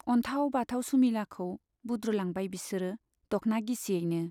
अन्थाव बाथाव सुमिलाखौ बुद्रुलांबाय बिसोरो दख्ना गिसियैनो।